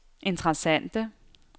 interessante